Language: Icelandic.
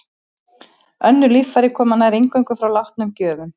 Önnur líffæri koma nær eingöngu frá látnum gjöfum.